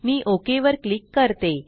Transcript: मी OK वर click करते